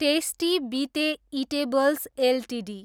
tasty Bite Eatables Ltd